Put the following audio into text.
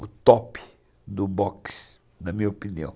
o top do boxe, na minha opinião.